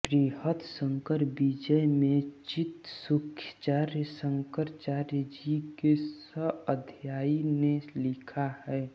बृहत्शंकरविजय में चित्सुखाचार्य शंकराचार्य जी के सह अध्यायी ने लिखा है